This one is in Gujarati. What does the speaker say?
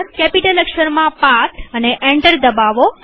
કેપિટલ અક્ષરમાં અને એન્ટર દબાવો